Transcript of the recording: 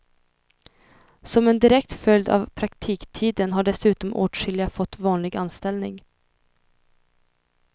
Som en direkt följd av praktiktiden har dessutom åtskilliga fått vanlig anställning.